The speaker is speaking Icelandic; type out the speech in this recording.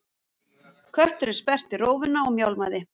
Kötturinn sperrti rófuna og mjálmaði.